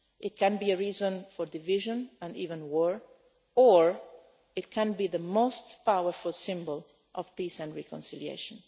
It can be a reason for division and even war or it can be the most powerful symbol of peace and reconciliation.